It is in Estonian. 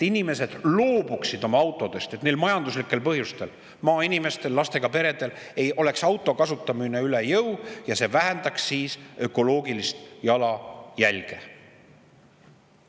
Inimesed peaksid loobuma oma autodest, neile peaks majanduslikel põhjustel – eriti maainimestele, lastega peredele – auto kasutamine üle jõu käima ja see vähendaks siis ökoloogilist jalajälge.